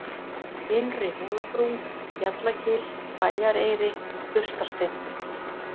Innri-Hólabrún, Bjallagil, Bæjareyri, Burstarsteinn